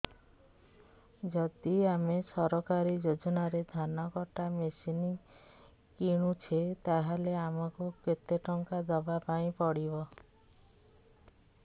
ଯଦି ଆମେ ସରକାରୀ ଯୋଜନାରେ ଧାନ କଟା ମେସିନ୍ କିଣୁଛେ ତାହାଲେ ଆମକୁ କେତେ ଟଙ୍କା ଦବାପାଇଁ ପଡିବ